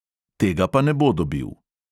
Tega pa ne bo dobil.